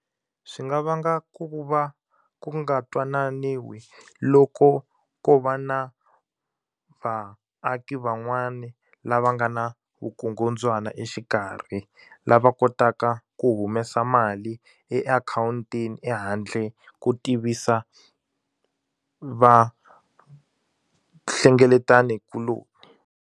Swi nga vanga ku va ku nga twananiwi loko ko va na vaaki van'wani lava nga na vukungundzwana exikarhi lava kotaka ku humesa mali eakhawuntini ehandle ko tivisa vahlengeletanikuloni.